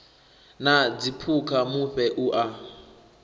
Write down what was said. na dziphukha mufhe u a